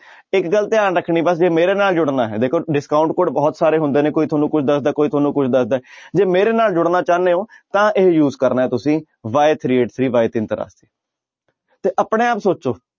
ਇੱਕ ਗੱਲ ਧਿਆਨ ਰੱਖਣੀ ਬਸ ਜੇ ਮੇਰੇ ਨਾਲ ਜੁੜਨਾ ਹੈ ਦੇਖੋ discount code ਬਹੁਤ ਸਾਰੇ ਹੁੰਦੇ ਨੇ ਕੋਈ ਤੁਹਾਨੂੰ ਕੋਈ ਦੱਸਦਾ ਕੋਈ ਤੁਹਾਨੂੰ ਕੋਈ ਦੱਸਦਾ ਹੈ ਜੇ ਮੇਰੇ ਨਾਲ ਜੁੜਨਾ ਚਾਹੁੰਦੇ ਹੋ ਤਾਂ ਇਹ use ਕਰਨਾ ਹੈ ਤੁਸੀਂ y three eight three ਤੇ ਆਪਣੇ ਆਪ ਸੋਚੋ